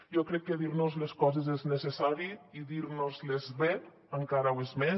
jo crec que dir nos les coses és necessari i dir nos les bé encara ho és més